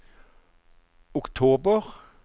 oktober